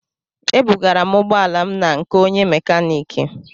Ebugara m ụgbọ ala na nke onye mekaniki